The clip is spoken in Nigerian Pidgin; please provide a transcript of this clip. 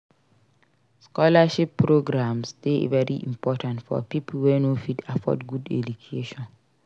scholarship programmes de very important for pipo wey no fit afford good education